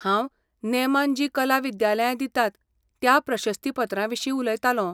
हांव नेमान जी कला विद्यालयां दितात त्या प्रशस्तीपत्राविशीं उलयतालों.